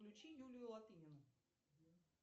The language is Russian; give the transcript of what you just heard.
включи юлию латынину